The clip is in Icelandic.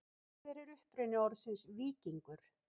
Hver er uppruni orðsins víkingur?